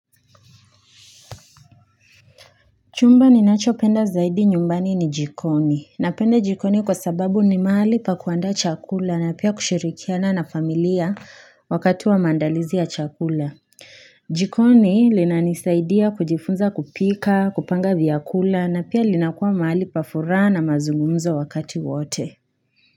Chumba ninacho penda zaidi nyumbani ni jikoni, napenda jikoni kwasababu ni mahali pa kuandaa chakula na pia kushirikiana na familia wakati wa maandalizi ya chakula jikoni linanisaidia kujifunza kupika kupanga vyakula na pia linakuwa mahali pa fura na mazungumzo wakati wote.